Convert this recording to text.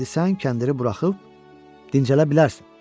İndi sən kəndiri buraxıb dincələ bilərsən.